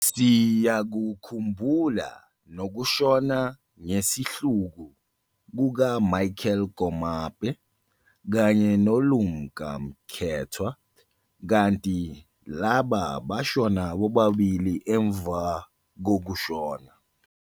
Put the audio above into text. Siyakukhumbula noku shona ngesihluku kuka-Michael Komape kanye no-Lumka Mkethwa, kanti laba bashona bobabili emva kokushona.